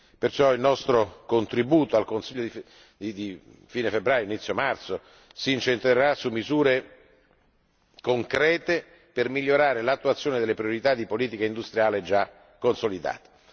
Perciò il nostro contributo al Consiglio di fine febbraio inizio marzo si incentrerà su misure concrete per migliorare l'attuazione delle priorità di politica industriale già consolidate.